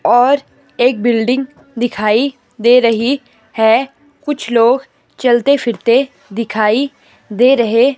और एक बिल्डिंग दिखाई दे रही है कुछ लोग चलते फिरते दिखाई दे रहे--